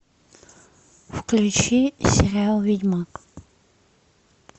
включи сериал ведьмак